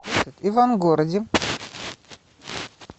ивангороде